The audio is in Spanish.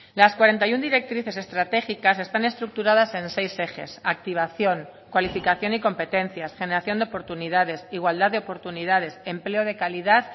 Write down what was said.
las cuarenta y uno directrices estratégicas están estructuradas en seis ejes activación cualificación y competencias generación de oportunidades igualdad de oportunidades empleo de calidad